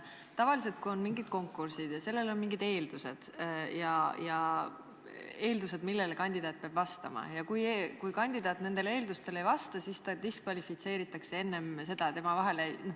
Tavaliselt on nii, et kui on konkurss ja sellel on mingisugused eeldused, millele kandidaat peab vastama, ja kui kandidaat nendele eeldustele ei vasta, siis ta diskvalifitseeritakse enne valimist.